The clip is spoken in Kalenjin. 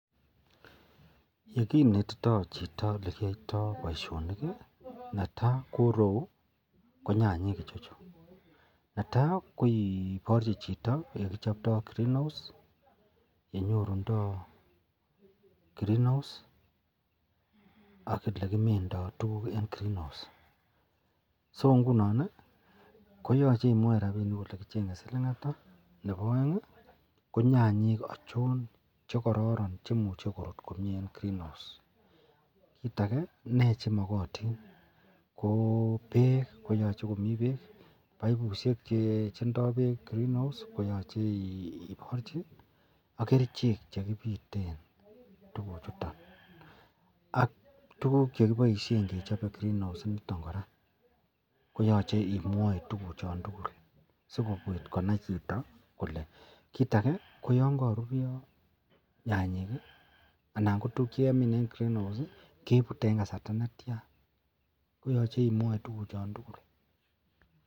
Yekinento Chito yelekiyoitoi baishoni Neta korou konyanyik netai kikochi Chito olekichoptoi green house olekichoptoi AK yekimindo tuguk en green house so inginon si mwa rabinik ole kichenge silin Nebo aeng ko nyanyik achon chekororon cheimuche korut komie en greenhouse kit age ko me chemakatin ko bek koyache komii baibushek chendoo bek green house koyache ibarchib AK kerchek chekibiten tuguk chuton AK tuguk chekibaishen kechobe green house initon kora koyache imwai tuguk chantugul sikobit konai Chito Kole kit age koyangarurio nyanyek anan kotuk chekemin en green house kebute en kasarta netian koyache imwai tuguk chan tugul